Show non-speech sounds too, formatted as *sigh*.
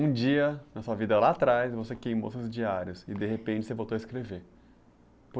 Um dia na sua vida lá atrás, você queimou seus diários e de repente você voltou a escrever. *unintelligible*